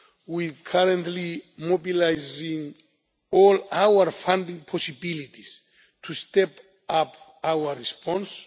We are currently mobilising all our funding possibilities to step up our response.